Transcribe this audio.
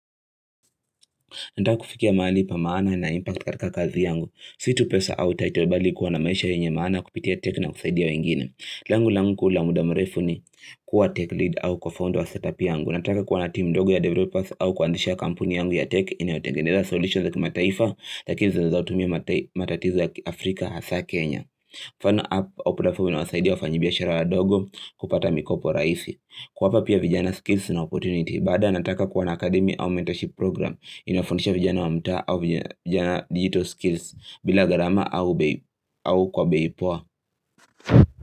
Nataka kufikia mahali pa maana na impact katika kazi yangu. Situ pesa au title bali kuwa na maisha yenye maana kupitia tech na kusaidia wengine. Lengo langu kuu la muda mrefu ni kuwa tech lead au kwa fund wa setup yangu. Nataka kuwa na team ndogo ya developers au kuanzisha kampuni yangu ya tech inayotengendeza solutions za kimataifa lakini zazotumia matatizo Afrika hasa Kenya. Fund up au platform inayowasaidia wafanyibiashara wadogo kupata mikopo rahisi. Kuwapa pia vijana skills na opportunity. Baada anataka kuwona akademi au mentorship program inafundisha vijana wa mtaa au vijana digital skills bila garama au kwa bei poa.